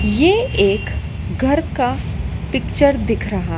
ये एक घर का पिक्चर दिख रहा--